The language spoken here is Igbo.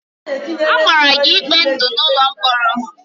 A mara gị ikpe ndụ n'ụlọ mkpọrọ!